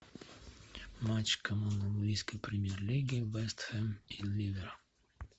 матч команд английской премьер лиги вест хэм и ливер